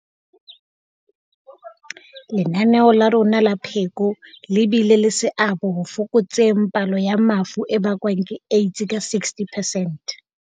Lenaneo la rona la pheko le bile le seabo ho fokotseng palo ya mafu a bakwang ke AIDS ka 60 percent.